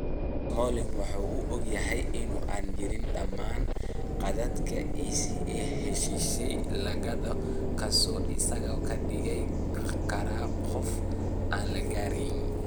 Smalling waxa uu og yahay in aanu jirin dammaanad qaadka in heshiis la gaadho kaas oo isaga ka dhigi kara qof aan la garanayn.